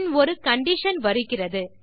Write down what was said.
பின் ஒரு கண்டிஷன் வருகிறது